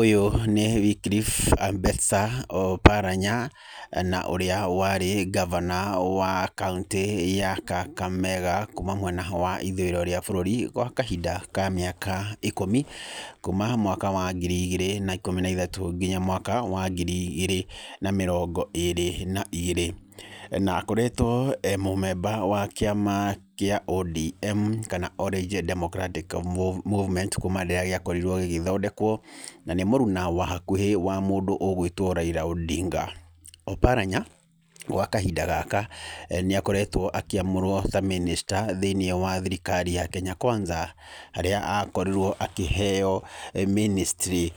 Ũyũ nĩ Wycliffe Ambetsa Oparanya, na ũrĩa warĩ ngavana wa kaũntĩ ya Kakamega kuma mwena ho wa ithũĩrwo rĩa bũrũri gwa kahinda ka mĩaka ikũmi, kũma mwaka wa ngiri igĩrĩ na ikũmi na ithatũ nginya mwaka wa ngiri igĩrĩ na mĩrongo ĩrĩ na igĩrĩ. Na akoretwo e mũ member wa kĩama kĩa ODM kana Orange Democratic Movement kuma rĩrĩa gĩakorirwo gĩgĩthondekwo. Na nĩ mũruna wa hakuhĩ wa mũndũ ũgwĩtwo Raila Odinga. Oparanya gwa kahinda gaka nĩ akoretwo akĩamũrwo ta minister thĩiniĩ wa thirikari ya Kenya Kwanza. Harĩa akorirwo akĩheo ministry